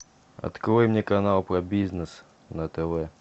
открой мне канал про бизнес на тв